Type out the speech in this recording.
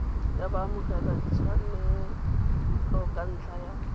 ya baamogeladitshwanelo ka ntlha ya